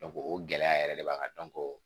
o gɛlɛya yɛrɛ de b'an kan